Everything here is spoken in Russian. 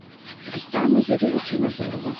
рустама юрьевича мазурова